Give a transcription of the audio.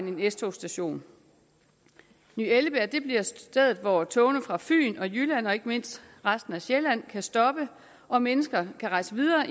en s togsstation ny ellebjerg bliver stedet hvor togene fra fyn og jylland og ikke mindst resten af sjælland kan stoppe og mennesker kan rejse videre